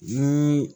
Ni